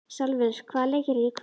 Salvör, hvaða leikir eru í kvöld?